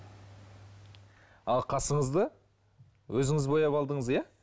ал қасыңызды өзіңіз бояп алдыңыз иә